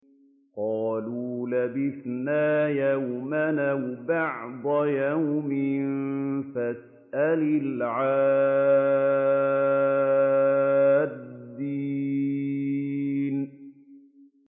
قَالُوا لَبِثْنَا يَوْمًا أَوْ بَعْضَ يَوْمٍ فَاسْأَلِ الْعَادِّينَ